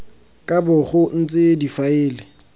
ka bo go ntse difaele